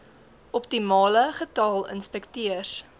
optimale getal inspekteurs